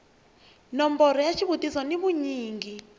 nomboro ya xivutiso ni vunyingi